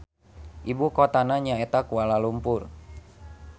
Ibu kotana nyaeta Kualalumpur.